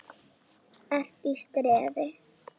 ERT Í STREÐI.